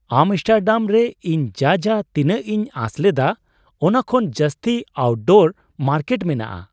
Amsterdam ᱨᱮ ᱤᱧ ᱡᱟᱡᱟᱸ ᱛᱤᱱᱟᱹᱜ ᱤᱧ ᱟᱸᱥ ᱞᱮᱫᱟ ᱚᱱᱟ ᱠᱷᱚᱱ ᱡᱟᱹᱥᱛᱤ ᱟᱣᱩᱴᱰᱳᱨ ᱢᱟᱨᱠᱮᱴ ᱢᱮᱱᱟᱜᱼᱟ ᱾